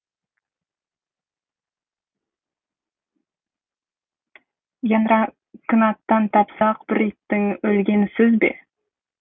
янракынаттан тапсақ бір иттің өлгені сөз бе